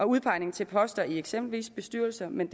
udpegning til poster i eksempelvis bestyrelser men